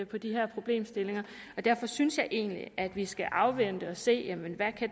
på de her problemstillinger og derfor synes jeg egentlig at vi skal afvente og se hvad